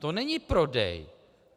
To není prodej.